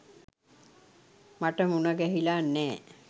මට මුණගැහිලා නෑ.